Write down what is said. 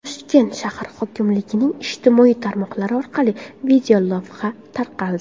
Toshkent shahar hokimligining ijtimoiy tarmoqlari orqali videolavha tarqaldi.